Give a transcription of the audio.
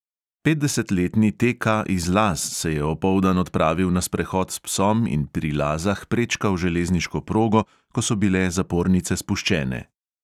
Petdesetletni T K iz laz se je opoldan odpravil na sprehod s psom in pri lazah prečkal železniško progo, ko so bile zapornice spuščene.